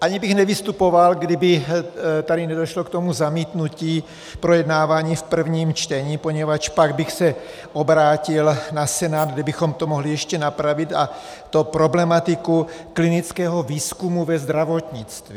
Ani bych nevystupoval, kdyby tady nedošlo k toho zamítnutí projednávání v prvním čtení, poněvadž pak bych se obrátil na Senát, kde bychom to mohli ještě napravit, a to problematiku klinického výzkumu ve zdravotnictví.